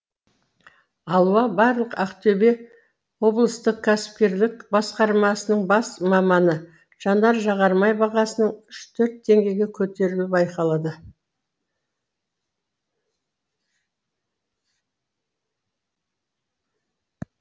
алуа барлық ақтөбе облыстық кәсіпкерлік басқармасының бас маманы жанар жағармай бағасының үш төрт теңгеге көтерілуі байқалады